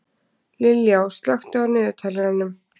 Liljá, slökktu á niðurteljaranum.